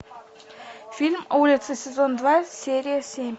фильм улица сезон два серия семь